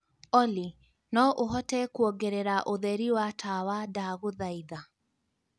olly no ũhote kuongerera ũtheri wa tawa, ndagũthaitha